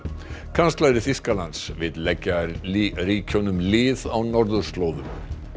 kanslari Þýskalands vill leggja ríkjunum lið á norðurslóðum